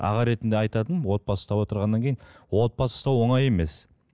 аға ретінде айтатыным отбасы ұстап отырғаннан кейін отбасы ұстау оңай емес